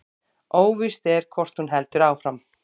Óvíst er hvort hún heldur áfram